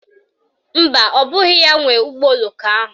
Mba, ọ bụghị ya nwe ụgbọoloko ahụ